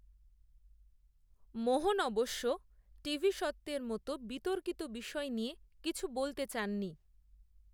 মোহন অবশ্য, টিভি স্বত্ত্বের মতো, বিতর্কিত বিষয় নিয়ে কিছু বলতে চাননি